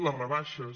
les rebaixes